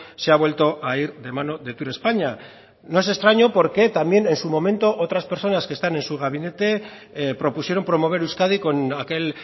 se ha vuelto a ir de mano de turespaña no es extraño porque también en su momento otras personas que están en su gabinete propusieron promover euskadi con aquel